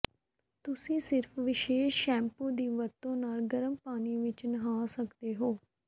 ਤੁਸੀਂ ਸਿਰਫ ਵਿਸ਼ੇਸ਼ ਸ਼ੈਂਪੂ ਦੀ ਵਰਤੋਂ ਨਾਲ ਗਰਮ ਪਾਣੀ ਵਿਚ ਨਹਾ ਸਕਦੇ ਹੋ